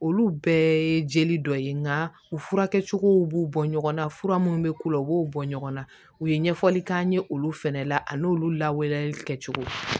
Olu bɛɛ ye jeli dɔ ye nka u furakɛcogow b'u bɔ ɲɔgɔnna fura munnu be k'u la u b'o bɔ ɲɔgɔn na u ye ɲɛfɔli k'an ye olu fɛnɛ la a n'olu lawaleyali kɛcogo